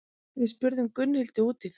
Við spurðum Gunnhildi út í það.